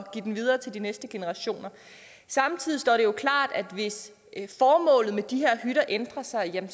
give den videre til de næste generationer samtidig står det jo klart at hvis formålet med de her hytter ændrer sig kan